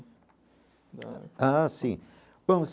Ah, sim bom.